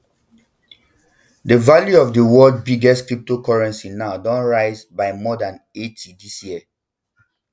di value of di world biggest cryptocurrency now don rise by more dan eighty dis year